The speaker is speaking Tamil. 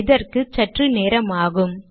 இதற்கு சற்று நேரமாகும்